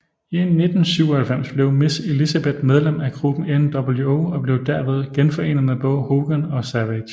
I 1997 blev Miss Elizabeth medlem af gruppen nWo og blev derved genforenet med både Hogan og Savage